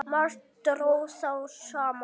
Margt dró þá saman.